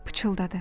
Pıçıltıdı.